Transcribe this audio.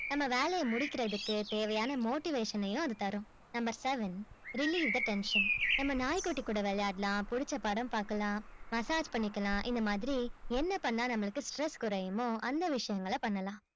நம்ம வேலைய முடிக்கிறதுக்கு தேவையான motivation னையும் அது தரும் number seven relieve the tension நம்ம நாய்க்குட்டி கூட விளையாடலாம் புடிச்ச படம் பாக்கலாம் massage பண்ணிக்கலாம் இந்த மாதிரி என்ன பண்ணா நம்மளுக்கு stress குறையுமோ அந்த விஷயங்கள பண்ணலாம்